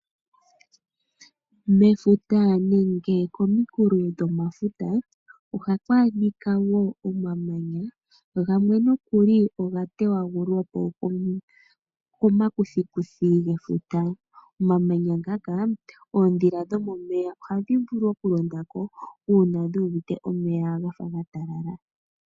Mefuta nenge komukulo dhefuta ohaku a dhika woo omamanya, gamwe nookuli oga teyagulwa po komakuthikuthi gefuta. Omamanya ngaka oodhila dhomomeya ohadhi vulu okulonda ko uuna dhuuvite omeya ga fa gatalala.